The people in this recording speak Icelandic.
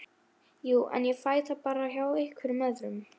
borg Grikklands, og stemmningin minnir um margt á risa